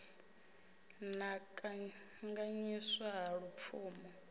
na u kanganyiswa ha lupfumo